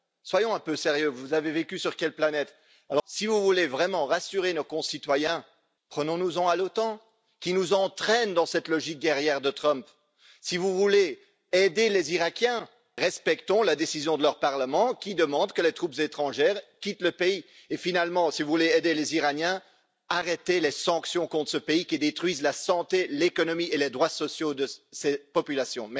Soyons un peu sérieux, vous avez vécu sur quelle planète? Si vous voulez vraiment rassurer nos concitoyens, prenons nous en à l'OTAN, qui nous entraîne dans cette logique guerrière de Trump. Si vous voulez aider les Iraquiens, respectons la décision de leur parlement qui demande que les troupes étrangères quittent le pays. Et finalement, si vous voulez aider les Iraniens, arrêtez les sanctions contre ce pays qui détruisent la santé, l'économie et les droits sociaux de ces populations.